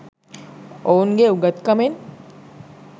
ඔවුන්ගේ උගත් කමෙන්?